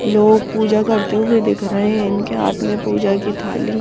लोग पूजा करते हुए दिख रहे हैं इनके हाथ में पूजा की थाली --